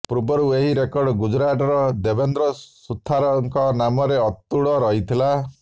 ପୂର୍ବରୁ ଏହି ରେକର୍ଡ ଗୁଜୁରାଟ ର ଦେବନ୍ଦ୍ର ସୁଥାର ଙ୍କ ନାମରେ ଅତୁଡ଼ ରହିଥିଲା